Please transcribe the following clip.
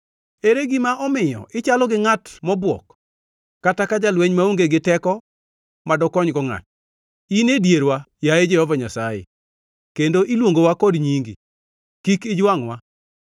Ere gima omiyo ichalo gi ngʼat mobuok, kata ka jalweny maonge gi teko ma dokonygo ngʼato? In e dierwa, yaye Jehova Nyasaye, kendo iluongowa kod nyingi; kik ijwangʼwa!